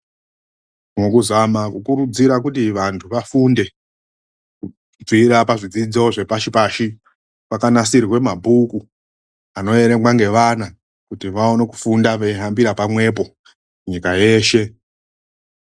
MUKUZAMA KUKURUDZIRA KUTI VANTU VAFUNDE, KUBVIRA PAZVIDZIDZO ZVEPASHI PASHI, KWAKANASIRWE MABHUKU ANOERENGWA NGEVANA KUTI VAONE KUFUNDA EIHAMBIRA PAMWEPO, NYIKA YESHE